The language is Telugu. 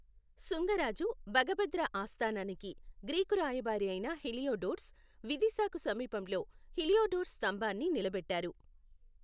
శుంగ రాజు భగభద్ర ఆస్థానానికి గ్రీకు రాయబారియైన హీలియోడోర్స్, విదిశాకు సమీపంలో హీలియోడోర్స్ స్తంభాన్ని నిలబెట్టారు.